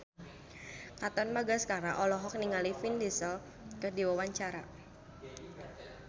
Katon Bagaskara olohok ningali Vin Diesel keur diwawancara